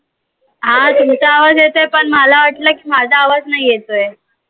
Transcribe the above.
हा तुमचा आवाज येतोय पन मला वाटलं की माझा आवाज नाई येतोय.